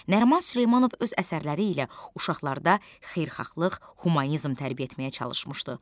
Nəriman Süleymanov öz əsərləri ilə uşaqlarda xeyirxahlıq, humanizm tərbiyə etməyə çalışmışdı.